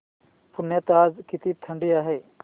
पुण्यात आज किती थंडी आहे